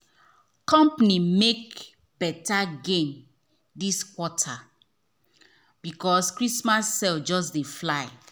company make better gain this quarter because christmas sales just dey fly.